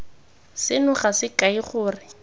seno ga se kae gore